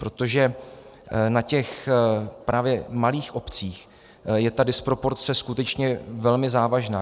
Protože na těch právě malých obcích je ta disproporce skutečně velmi závažná.